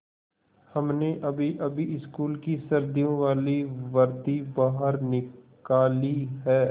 हमने अभीअभी स्कूल की सर्दियों वाली वर्दी बाहर निकाली है